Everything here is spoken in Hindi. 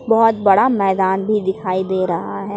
बहुत बड़ा मैदान भी दिखाई दे रहा है।